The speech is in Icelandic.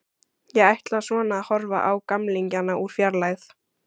Ég ætla svona að horfa á gamlingjana úr fjarlægð.